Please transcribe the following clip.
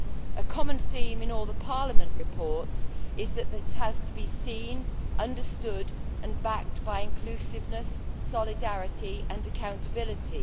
A common theme in all the Parliament reports is that this has to be seen, understood and backed by inclusiveness, solidarity and accountability.